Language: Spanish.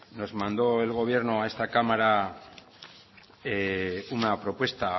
nos mandó el gobierno a esta cámara una propuesta